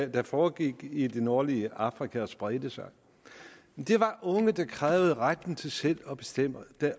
der foregik i det nordlige afrika og spredte sig det var unge der krævede retten til selv at bestemme